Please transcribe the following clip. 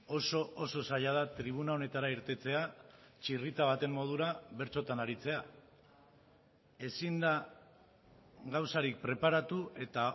oso oso zaila da tribuna honetara irtetea txirrita baten modura bertsotan aritzea ezin da gauzarik preparatu eta